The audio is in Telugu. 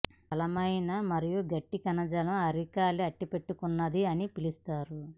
ఈ బలమైన మరియు గట్టి కణజాలం అరికాలి అంటిపట్టుకొన్నది అని పిలుస్తారు